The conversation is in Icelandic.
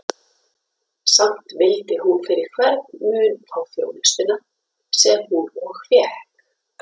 Samt vildi hún fyrir hvern mun fá þjónustuna, sem hún og fékk.